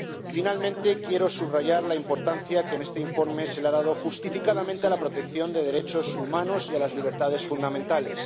Por último, quiero subrayar la importancia que en este informe se ha dado justificadamente a la protección de los derechos humanos y las libertades fundamentales.